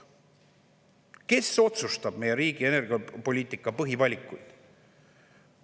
Kes otsustab meie riigi energiapoliitika põhivalikuid?